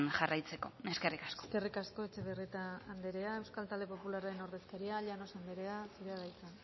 jarraitzeko eskerrik asko eskerrik asko etxebarrieta anderea euskal talde popularraren ordezkaria llanos anderea zurea da hitza